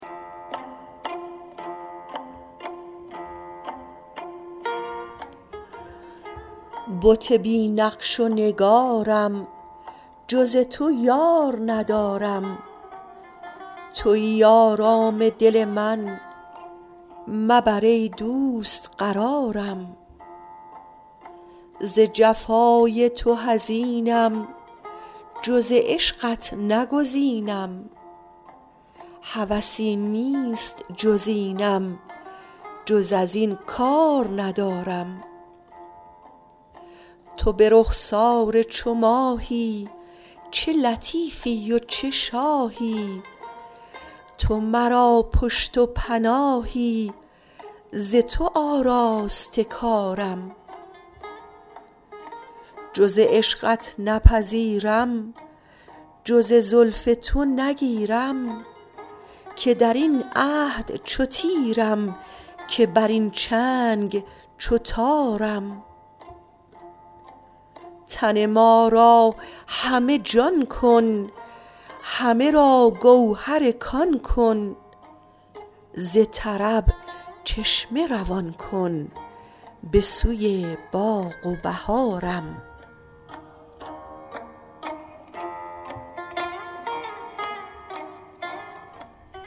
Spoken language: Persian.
بت بی نقش و نگارم جز تو من یار ندارم توی آرام دل من مبر ای دوست قرارم ز جفای تو حزینم جز عشقت نگزینم هوسی نیست جز اینم جز از این کار ندارم تو به رخسار چو ماهی چه لطیفی و چه شاهی تو مرا پشت و پناهی ز تو آراسته کارم جز عشقت نپذیرم جز زلف تو نگیرم که در این عهد چو تیرم که بر این چنگ چو تارم تن ما را همه جان کن همه را گوهر کان کن ز طرب چشمه روان کن به سوی باغ و بهارم